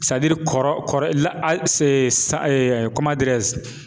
kɔrɔ